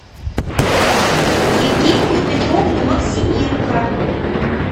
евгению петровну максименко